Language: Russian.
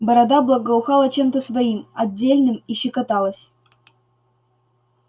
борода благоухала чем-то своим отдельным и щекоталась